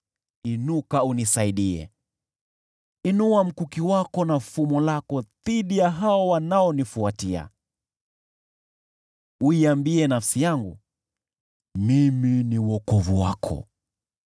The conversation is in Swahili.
Inua mkuki wako na fumo lako dhidi ya hao wanaonifuatia. Iambie nafsi yangu, “Mimi ni wokovu wako.”